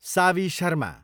Saavi Sharma